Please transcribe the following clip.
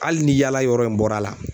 Hali ni yaala yɔrɔ in bɔra a la